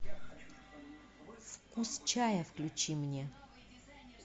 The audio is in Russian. вкус чая включи мне